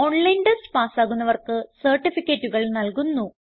online test പാസ്സാകുന്നവർക്ക് സർട്ടിഫികറ്റുകൾ നല്കുന്നു